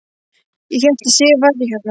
Ég hélt að Sif væri hérna.